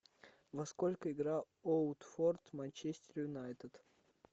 во сколько играл оутфорд манчестер юнайтед